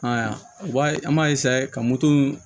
Ayiwa o b'a an b'a ka moto